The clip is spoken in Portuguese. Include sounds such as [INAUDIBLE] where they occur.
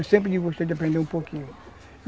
Eu sempre gostei [UNINTELLIGIBLE] um pouquinho.